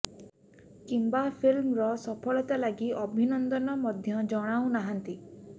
କିମ୍ୱା ଫିଲ୍ମର ସଫଳତା ଲାଗି ଅଭିନନ୍ଦନ ମଧ୍ୟ ଜଣାଉ ନାହାନ୍ତି